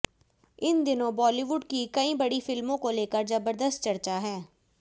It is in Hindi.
इन दिनों बॉलीवुड की कई बड़ी फिल्मों को लेकर जबरदस्त चर्चा है